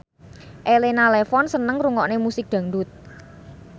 Elena Levon seneng ngrungokne musik dangdut